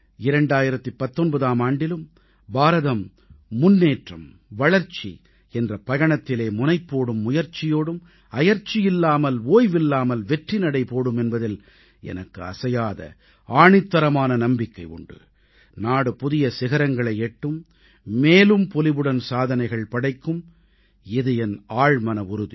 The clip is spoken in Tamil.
2019ஆம் ஆண்டிலும் பாரதம் முன்னேற்றம் வளர்ச்சி என்ற பயணத்திலே முனைப்போடும் முயற்சியோடும் அயர்ச்சியில்லாமல் ஓய்வில்லாமல் வெற்றிநடை போடும் என்பதில் எனக்கு அசையாத ஆணித்தரமான நம்பிக்கை உண்டு நாடு புதிய சிகரங்களை எட்டும் மேலும் பொலிவுடன் சாதனைகள் படைக்கும் இது என் ஆழ்மன உறுதி